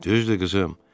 Düzdür, qızım.